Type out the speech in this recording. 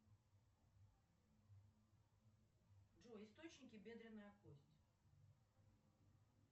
джой источники бедренная кость